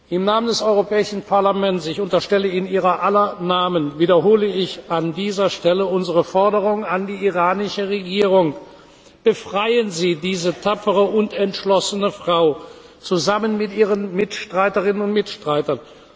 Im Namen des Europäischen Parlaments ich unterstelle, in Ihrer aller Namen wiederhole ich an dieser Stelle unsere Forderung an die iranische Regierung Befreien Sie diese tapfere und entschlossene Frau, zusammen mit ihren Mitstreiterinnen und Mitstreitern!